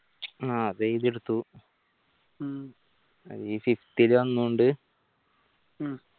ആഹ് അത് എഴുതിയെടുത്തു ഇനി fifth ലെ ഒന്നുണ്ട്